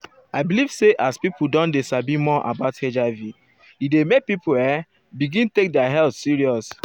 i believe say as people don dey sabi more about hiv e dey make people[um]begin take their health serious.